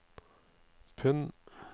pund